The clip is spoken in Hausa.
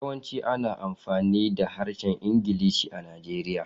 Yawanci ana amfani da Harshen Ingilishi a Najeriya.